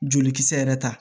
Jolikisɛ yɛrɛ ta